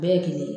Bɛɛ ye kelen ye